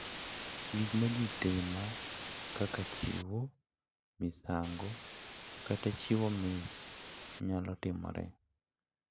Gik ma ji timo kaka chiwo misango kata chiwo mich nyalo timore,